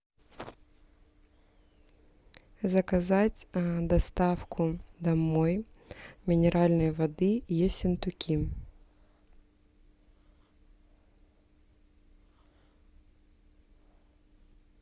заказать доставку домой минеральной воды ессентуки